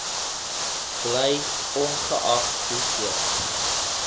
bly ongeag hoeveel